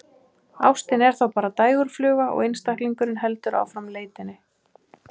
Ástin er þá bara dægurfluga og einstaklingurinn heldur áfram leitinni.